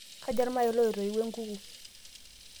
kaja ilmayayi loitawuo enkuku